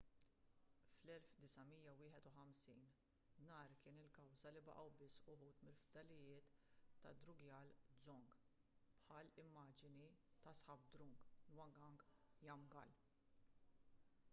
fl-1951 nar kien il-kawża li baqgħu biss uħud mill-fdalijiet tad-drukgyal dzong bħall-immaġni ta' zhabdrung ngawang namgyal